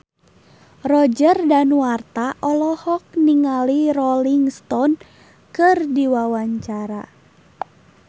Roger Danuarta olohok ningali Rolling Stone keur diwawancara